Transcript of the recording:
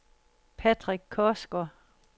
Patrick Korsgaard